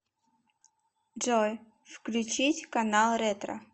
джой включить канал ретро